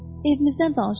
Evimizdən danış.